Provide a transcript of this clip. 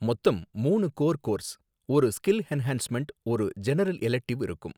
மொத்தம் மூணு core courses, ஒரு ஸ்கில் என்ஹான்ஸ்மெண்ட், ஒரு ஜெனரல் எலட்க்டிவ் இருக்கும்